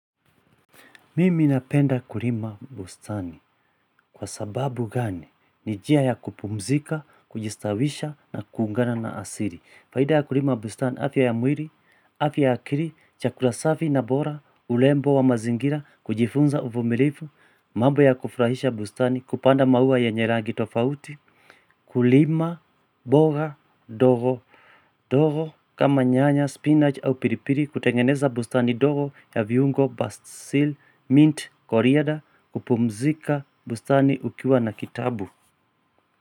Mimi napenda kulima bustani kwa sababu gani ni njia ya kupumzika, kujistawisha na kuungana na asili. Faida ya kulima bustani afya ya mwili, afya ya akili, chakula safi na bora, urembo wa mazingira, kujifunza uvumilivu, mambo ya kufurahisha bustani, kupanda maua yenye rangi tofauti. Kulima, mboga, ndogo ndogo kama nyanya, spinach au pilipili kutengeneza bustani ndogo ya viungo, basil, mint, coriander, kupumzika bustani ukiwa na kitabu.